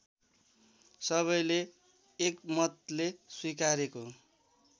सबैले एकमतले स्वीकारेको